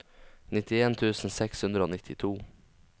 nitten tusen seks hundre og nittito